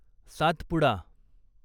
Satpura